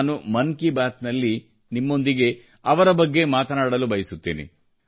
ನಾನು ಮನ್ ಕಿ ಬಾತ್ ನಲ್ಲಿ ನಿಮ್ಮೊಂದಿಗೆ ಅವರ ಬಗ್ಗೆ ಮಾತನಾಡಲು ಬಯಸುತ್ತೇನೆ